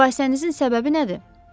Mübahisənizin səbəbi nədir?